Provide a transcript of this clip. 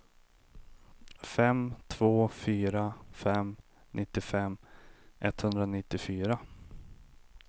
fem två fyra fem nittiofem etthundranittiofyra